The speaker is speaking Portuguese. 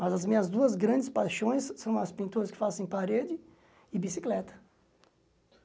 Mas as minhas duas grandes paixões são as pinturas que faço em parede e bicicleta.